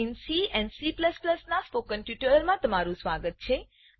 C and C મા loop પરનાં spoken ટ્યુટોરીયલમાં સ્વાગત છે